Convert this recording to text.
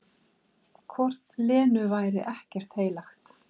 Hvort Lenu væri ekkert heilagt?